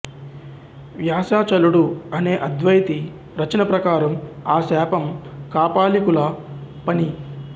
వ్యాసాచలుడు అనే అద్వైతి రచన ప్రకారం ఆ శాపం కాపాలికుల పని